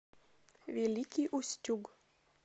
великий устюг